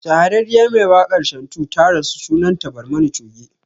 Shahararriyar mai wakar Shantu ta rasu sunan ta Barmani Choge